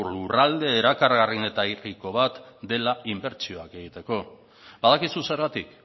lurralde erakargarrienetariko bat dela inbertsioak egiteko badakizu zergatik